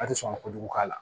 A ti sɔn ka kojugu k'a la